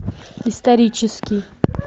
исторический